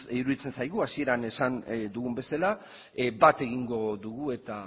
iruditzen zaigu hasieran esan dugun bezala bat egingo dugu eta